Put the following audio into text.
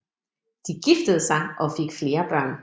De giftede sig og fik flere børn